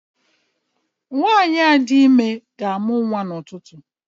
nwanyi di ime ga-amuta ututu